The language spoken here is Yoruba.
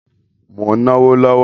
Mo ń ná owó lọ́wọ́